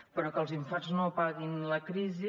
però que els infants no paguin la crisi